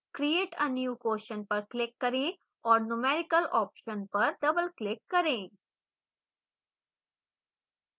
create a new question पर click करें और numerical option पर double click करें